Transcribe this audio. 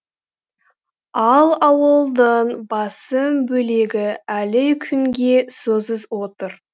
ал ауылдың басым бөлегі әлі күнге сусыз отыр